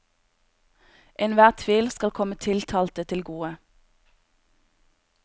Enhver tvil skal komme tiltalte til gode.